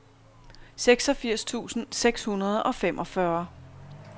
seksogfirs tusind seks hundrede og femogfyrre